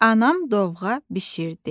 Anam dovğa bişirdi.